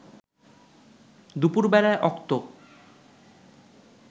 দুপুর বেলার অক্ত